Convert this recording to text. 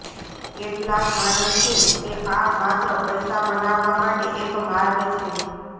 કેટલાક માને છે કે આ માત્ર પૈસા બનાવવા માટે એક માર્ગ છે